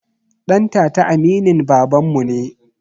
Ɗantata aminin babanmu ne